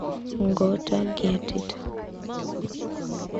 гота гет ит